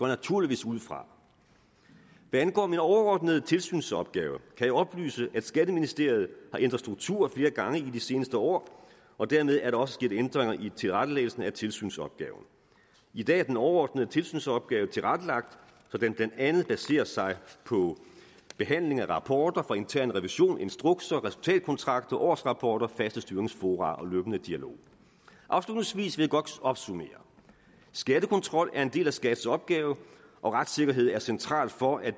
naturligvis ud fra hvad angår min overordnede tilsynsopgave kan jeg oplyse at skatteministeriet har ændret struktur flere gange i de seneste år og dermed er der også sket ændringer i tilrettelæggelsen af tilsynsopgaven i dag er den overordnede tilsynsopgave tilrettelagt så den blandt andet baserer sig på behandling af eller rapporter fra intern revision instrukser resultatkontrakter årsrapporter faste styringsfora og løbende dialog afslutningsvis vil jeg godt opsummere skattekontrol er en del af skats opgave og retssikkerhed er centralt for at